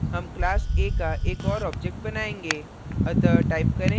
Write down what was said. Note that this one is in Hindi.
अगली line में हम class a का एक और object बनायेंगे